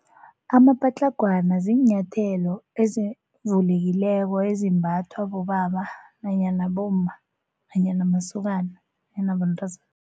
Amapatlagwana ziinyathelo ezivulekileko ezimbathwa bobaba nanyana bomma nanyana masokana nanabentazana.